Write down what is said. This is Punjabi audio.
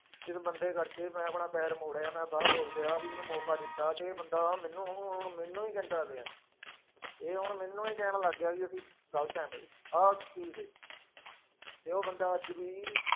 ਇਸ ਬੰਦੇ ਕਰਕੇ ਮੈਂ ਆਪਣਾ ਪੈਰ ਮੋੜਿਆ ਮੈਂ ਬਾਹਰ ਹੋ ਗਿਆ ਵੀ ਇਹਨੂੰ ਮੌਕਾ ਦਿੱਤਾ ਤੇ ਇਹ ਬੰਦਾ ਮੈਨੂੰ ਹੁਣ ਮੈਨੂੰ ਹੀ ਕਹਿੰਦਾ ਪਿਆ ਹੈ, ਇਹ ਹੁਣ ਮੈਨੂੰ ਹੀ ਕਹਿਣ ਲੱਗ ਗਿਆ ਵੀ ਅਸੀਂ ਗ਼ਲਤ ਹੈ ਬਈ, ਆਹ ਚੀਜ਼ ਦੇ~ ਤੇ ਉਹ ਬੰਦਾ ਅੱਜ ਵੀ।